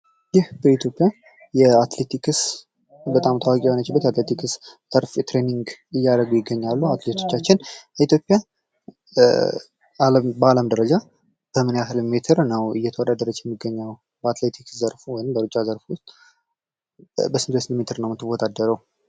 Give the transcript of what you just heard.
ይህ በኢትዮጵያ በአትሌቲክስ በጣም ታዋቂ የሆነችበት አትሌቲክስ ልምምድ እያደረጉ ይገኛሉ አትሌቶቻችን። የኢትዮጵያ በአለም ደረጃ በምን ያክል ሜትር ነው እየተወዳደረች የምትገኘው በአትሌቲክስ ዘርፍ ወይም በሩጫ ዘርፍ በስንት በስንት ሜትር ነው የምወዳደረው?